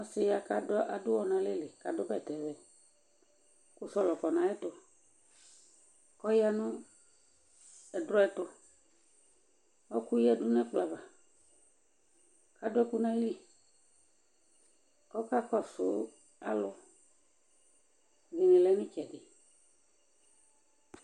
Ɔsiɛ ya k'adʋwɔ n'alɛli Adʋ bɛtɛvɛ , kʋ sɔlɔ kɔ n'ayɛtʋ k'ɔya nʋ ɛdrɔɛtʋ Ɔɔkʋ yǝdu n'ɛkplɔava ,adʋ ɛkʋ n'ayili ,k'ɔka kɔsʋ alʋ , iyeye lɛ n'ɩtsɛdɩ